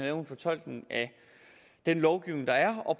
en fortolkning af den lovgivning der er og